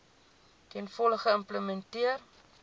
ten volle geïmplementeer